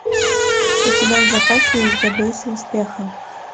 у тебя в запасе есть добейся успеха